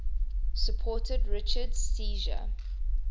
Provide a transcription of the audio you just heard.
supported richard's seizure